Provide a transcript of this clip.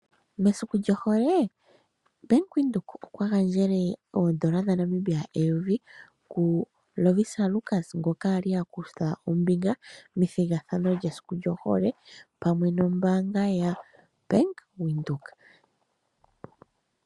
Mesiku lyohole, Bank Windhoek okwa gandjele oondola dhaNamibia eyovi kuLovisa Lukas ngoka a li a kutha ombinga methigathano lyesiku lyohole, pamwe nombaanga yaBank Windhoek.